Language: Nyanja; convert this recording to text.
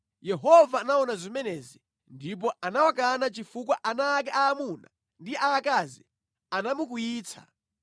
Yehova anaona zimenezi ndipo anawakana chifukwa ana ake aamuna ndi aakazi anamukwiyitsa.